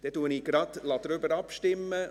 Dann lasse ich gleich darüber abstimmen.